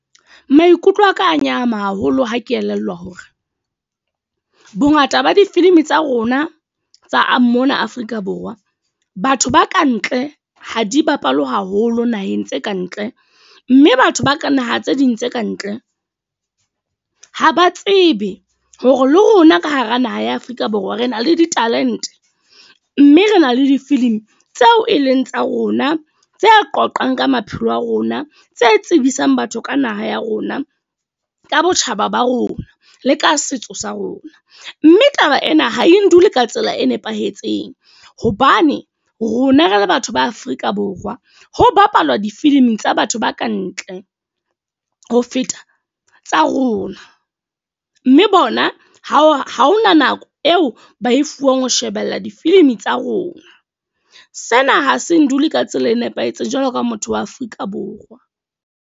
Maikutlo aka a nyahama haholo ha ke elellwa hore, bongata ba difilimi tsa rona tsa a mona Afrika Borwa. Batho ba kantle, ha di bapalwe haholo naheng tse kantle. Mme batho ba ka naha tse ding tse kantle, ha ba tsebe hore le rona ka hara naha ya Afrika Borwa re na le di-talent. Mme re na le difilimi tseo e leng tsa rona, tse qoqang ka maphelo a rona tse tsebisang batho ka naha ya rona, ka botjhaba ba rona, le ka setso sa rona. Mme taba ena ha e ndule ka tsela e nepahetseng. Hobane rona re le batho ba Afrika Borwa, ho bapalwa difiliming tsa batho ba kantle, ho feta tsa rona. Mme bona ha hona nako eo ba e fuwang ho shebella difilimi tsa rona. Sena ha se ndule ka tsela e nepahetseng jwalo ka motho wa Afrika Borwa.